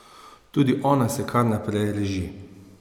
Tudi ona se kar naprej reži.